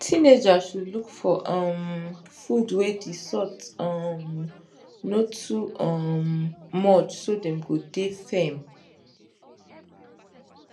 teenagers should look for um food wey the salt um no too um much so dem go dey firm